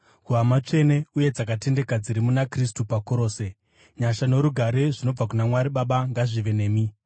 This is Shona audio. kuhama tsvene uye dzakatendeka dziri muna Kristu paKorose: Nyasha norugare zvinobva kuna Mwari Baba ngazvive nemi.